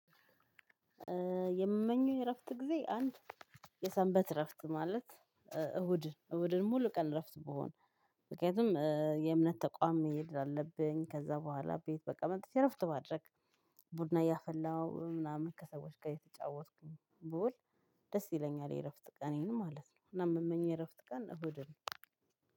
የምመኘው የ እረፍት ጊዜ አንድ የሰንበት እረፍት ማለት እሁድ እሁድን ሙሉ ቀን እረፍት ብሆን። ምክንያቱም የእምነት ተቋም መሄድ አለብኝ ከዛ በኋላ ቤት በቃ መጥቸ እረፍት ማድረግ። ቡና እያፈላው ምናምን ከሰዎች ጋር እየተጫወትኩኝ ብውል። ደስ ይለኛል የእረፍት ቀኔን ማለት ነው። እና የምመኘው የእረፍት ቀን እሁድ ነው።